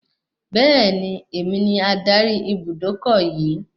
Beeni, èmi ni adarí Ibùdókọ̀ yii